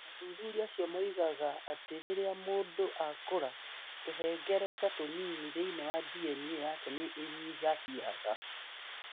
Athuthuria acio moigaga atĩ rĩrĩa mũndũ akũra, tũhengereta tũnini thĩinĩ wa DNA yake nĩ ĩnyihĩhaga.